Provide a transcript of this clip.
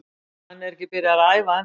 Hann er ekki byrjaður að æfa ennþá.